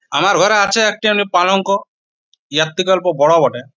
আমার ঘরে আছে একটি পালঙ্ক এর থেকে অল্প বড় বটে।